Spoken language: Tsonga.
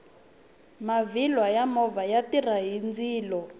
maviri ya movha ya tirha hi ndzilo